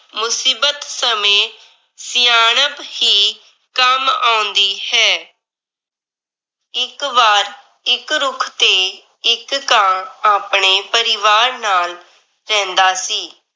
ਮੁਸੀਬਤ ਸਮੇਂ ਸਿਆਣਪ ਹੀ ਕੰਮ ਆਉਂਦੀ ਹੈ। ਇੱਕ ਵਾਰ ਇੱਕ ਰੁੱਖ ਤੇ ਇੱਕ ਕਾਂ ਆਪਣੇ ਪਰਿਵਾਰ ਨਾਲ ਰਹਿੰਦਾ ਸੀ।